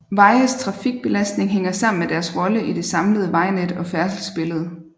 Vejes trafikbelastning hænger sammen med deres rolle i det samlede vejnet og færdselsbillede